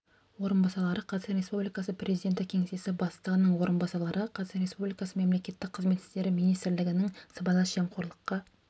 орынбасарлары қазақстан республикасы президенті кеңсесі бастығының орынбасарлары қазақстан республикасы мемлекеттік қызмет істері министрлігінің сыбайлас жемқорлыққа